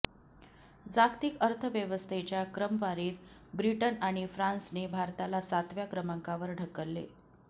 जागतिक अर्थव्यवस्थेच्या क्रमवारीत ब्रिटन आणि फ्रान्सने भारताला सातव्या क्रमांकावर ढकलले